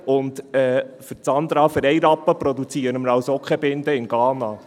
Und, Sandra: Für 1 Rappen produzieren wir auch in Ghana keine Binde.